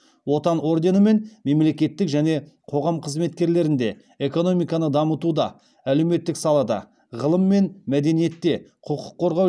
отан орденімен мемлекеттік және қоғам қызметкерлерінде экономиканы дамытуда әлеуметтік салада ғылым мен мәдениетте құқық қорғау